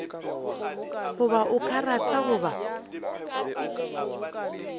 goba o a rata goba